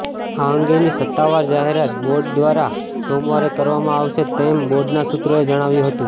આ અંગેની સત્તાવાર જાહેરાત બોર્ડ દ્વારા સોમવારે કરવામાં આવશે તેમ બોર્ડના સુત્રોએ જણાવ્યું હતું